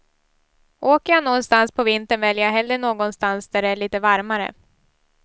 Åker jag nånstans på vintern väljer jag hellre någonstans där det är lite varmare.